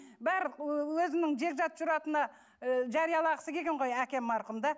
барлық өзінің жекжат жұрағатына ы жариялағысы келген ғой әкем марқұм да